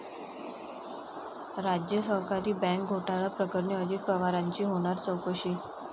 राज्य सहकारी बँक घोटाळा प्रकरणी अजित पवारांची होणार चौकशी